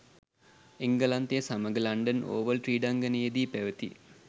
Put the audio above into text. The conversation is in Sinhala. එංගලන්තය සමඟ ලන්ඩන් ඕවල් ක්‍රීඩාංගණයේ දී පැවති